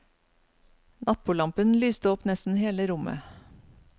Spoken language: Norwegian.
Nattbordlampen lyste opp nesten hele rommet.